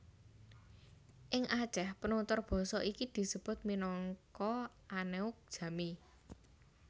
Ing Aceh penutur basa iki disebut minangka Aneuk Jamee